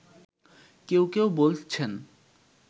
কেউ কেউ বলছেন